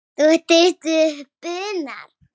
Þú ert stuttur í spuna.